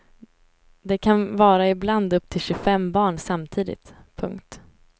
Det kan vara ibland upp till tjugofem barn samtidigt. punkt